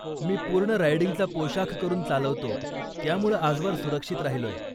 मी पूर्ण रायडिंगचा पोशाख करून चालवतो, त्यामुळं आजवर सुरक्षित राहिलोय.